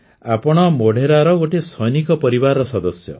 ଆପଣ ମୋଢେରାର ଗୋଟିଏ ସୈନିକ ପରିବାରର ସଦସ୍ୟ